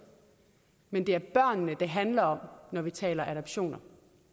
men det er børnene det handler om når vi taler adoptioner